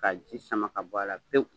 Ka ji sama ka bɔ a la pewu.